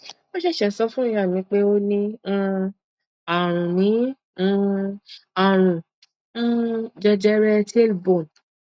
wọn ṣẹṣẹ sọ fún ìyá mi pé ó ní um àrùn ní um àrùn um jẹjẹrẹ tailbone